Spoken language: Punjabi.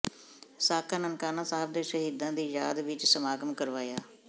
ਸਾਕਾ ਨਨਕਾਣਾ ਸਾਹਿਬ ਦੇ ਸ਼ਹੀਦਾਂ ਦੀ ਯਾਦ ਵਿਚ ਸਮਾਗਮ ਕਰਵਾਇਆ